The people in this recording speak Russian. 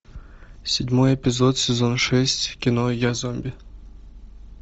седьмой эпизод сезон шесть кино я зомби